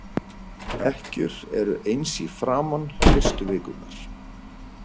Ekkjur eru eins í framan, fyrstu vikurnar.